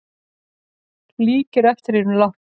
Líkir eftir hinum látna